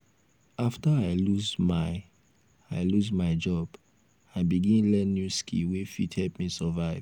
after i lose my i lose my job i begin learn new skill wey fit help me survive.